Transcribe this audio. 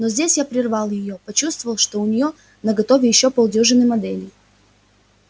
но здесь я прервал её почувствовав что у неё наготове ещё полдюжины моделей